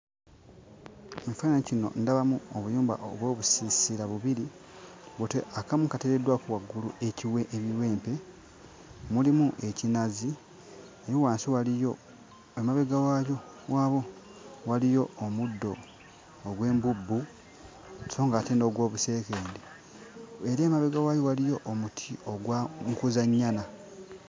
Mu kifaananyi kino ndabamu obuyumba oba obusiisira bubiri. Otyo, akamu kateereddwako waggulu ekiwe ebiwempe, mulimu ekinazi, eri wansi waliyo amabega waakyo waalwo waliyo omuddo ogw'embubbu so ng'ate n'ogw'obuseekende. Eri emabega waayo waliyo omuti ogwa mukuzannyana.